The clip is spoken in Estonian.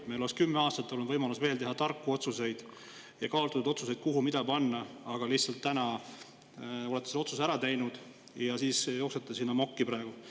Meil oleks olnud veel 10 aastat võimalus teha tarku ja kaalutletud otsuseid selle kohta, kuhu mida panna, aga praegu te olete selle otsuse lihtsalt ära teinud ja siis jooksete siin amokki praegu.